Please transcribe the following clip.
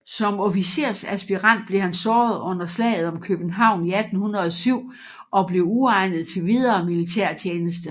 Som officersaspirant blev han såret under Slaget om København i 1807 og blev uegnet til videre militærtjeneste